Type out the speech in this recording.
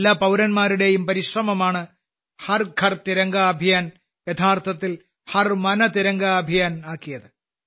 എല്ലാ പൌരന്മാരുടെയും പരിശ്രമമാണ് ഹർ ഘർ തിരംഗ അഭിയാൻ യഥാർത്ഥത്തിൽ ഹർ മൻ തിരംഗ അഭിയാൻ ആക്കിയത്